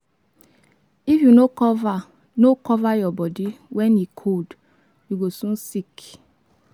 If you no cover no cover your body when e cold, you go soon sick.